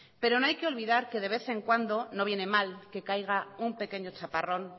pero no hay que olvidar que de vez en cuando no viene mal que caiga un pequeño chaparrón